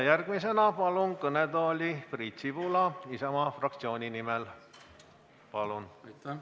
Järgmisena palun kõnetooli Priit Sibula Isamaa fraktsiooni nimel, palun!